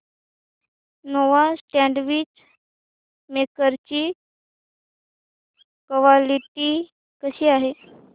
Nova sandwich maker ची quality कशी आहे